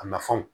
A nafanw